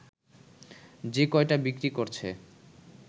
যে কয়টা বিক্রি করছে